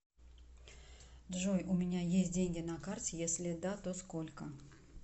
джой у меня есть деньги на карте если да то сколько